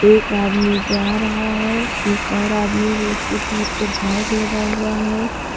एक आदमी जा रहा है एक और आदमी हूं उसके पीठ पर बैग लगा हुआ है।